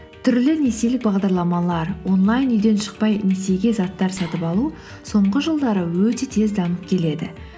түрлі несиелі бағдарламалар онлайн үйден шықпай несиеге заттар сатып алу соңғы жылдары өте тез дамып келеді